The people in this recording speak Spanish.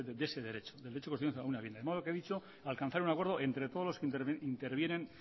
de ese derecho del derecho constitucional a una vivienda de modo que he dicho alcanzar un acuerdo entre todos los que intervienen